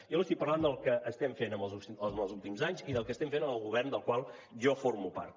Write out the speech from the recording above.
jo li estic parlant del que estem fent els últims anys i del que estem fent en el govern del qual jo formo part